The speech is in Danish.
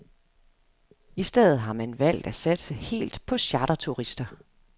I stedet har man valgt at satse helt på charterturister.